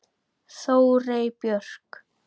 Þórey Björk.